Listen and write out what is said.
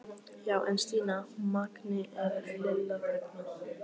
Já en Stína, Mangi er. Lilla þagnaði.